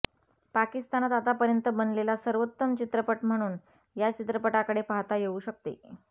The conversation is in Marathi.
पाकिस्तानात आतापर्यंत बनलेला सर्वोत्तम चरित्रपट म्हणून या चित्रपटाकडे पाहता येऊ शकते